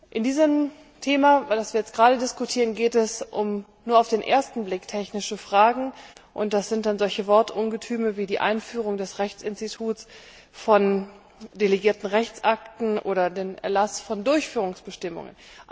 Bei diesem Thema, über das wir jetzt gerade diskutieren, geht es um nur auf den ersten Blick technische Fragen, und das sind dann solche Wortungetüme wie die Einführung des Rechtsinstituts von delegierten Rechtsakten oder der Erlass von Durchführungsbestimmungen.